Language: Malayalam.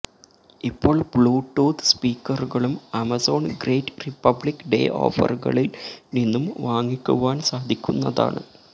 ഇപ്പോൾ ബ്ലൂടൂത്ത് സ്പീക്കറുകളും ആമസോൺ ഗ്രേറ്റ് റിപ്പബ്ലിക്ക് ഡേ ഓഫറുകളിൽ നിന്നും വാങ്ങിക്കുവാൻ സാധിക്കുന്നതാണ്